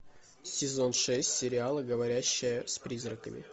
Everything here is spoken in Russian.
сезон шесть сериала говорящая с призраками